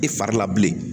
I fari la bilen